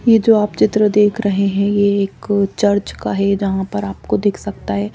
ये जो आप चित्र देख रहे हैं ये एक चर्च का है यहां पर आपको दिख सकता है।